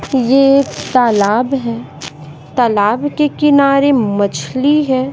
ये एक तालाब है तालाब के किनारे मछली है।